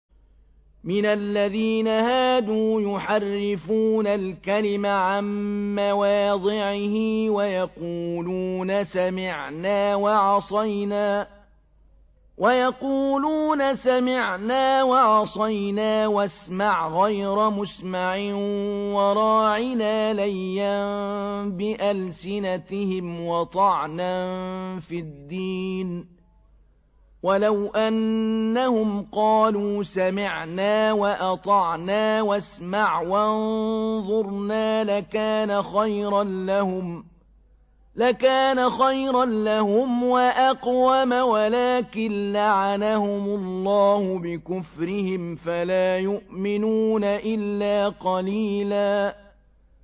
مِّنَ الَّذِينَ هَادُوا يُحَرِّفُونَ الْكَلِمَ عَن مَّوَاضِعِهِ وَيَقُولُونَ سَمِعْنَا وَعَصَيْنَا وَاسْمَعْ غَيْرَ مُسْمَعٍ وَرَاعِنَا لَيًّا بِأَلْسِنَتِهِمْ وَطَعْنًا فِي الدِّينِ ۚ وَلَوْ أَنَّهُمْ قَالُوا سَمِعْنَا وَأَطَعْنَا وَاسْمَعْ وَانظُرْنَا لَكَانَ خَيْرًا لَّهُمْ وَأَقْوَمَ وَلَٰكِن لَّعَنَهُمُ اللَّهُ بِكُفْرِهِمْ فَلَا يُؤْمِنُونَ إِلَّا قَلِيلًا